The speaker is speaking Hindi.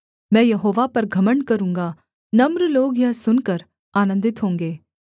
मैं यहोवा पर घमण्ड करूँगा नम्र लोग यह सुनकर आनन्दित होंगे